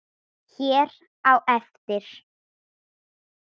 hér á eftir.